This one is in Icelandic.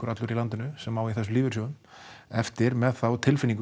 allur í landinu sem á í þessum lífeyrissjóðum eftir með þá tilfinningu